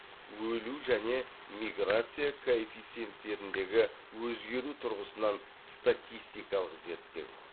өлу және миграция коэффициенттеріндегі өзгеруі тұрғысынан статистикалық зерттеу